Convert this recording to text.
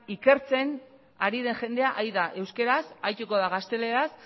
ikertzen ari den jendea ari da euskaraz arituko da gazteleraz